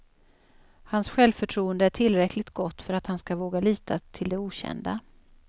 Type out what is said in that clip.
Hans självförtroende är tillräckligt gott för att han ska våga lita till det okända.